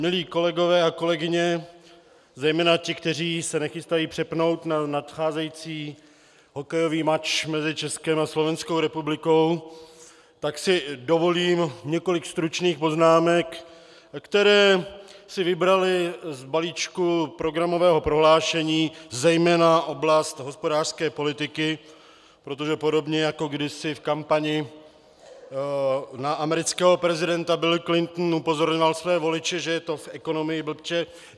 Milí kolegové a kolegyně, zejména ti, kteří se nechystají přepnout na nadcházející hokejový mač mezi Českem a Slovenskou republikou, tak si dovolím několik stručných poznámek, které si vybraly z balíčku programového prohlášení zejména oblast hospodářské politiky, protože podobně jako kdysi v kampani na amerického prezidenta Bill Clinton upozorňoval své voliče, že je to v ekonomii, blbče!